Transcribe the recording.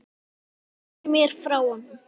Sneri mér frá honum.